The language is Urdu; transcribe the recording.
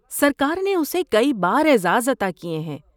سرکار نے اسے کئی بار اعزاز عطا کیے ہیں۔